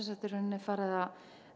farið að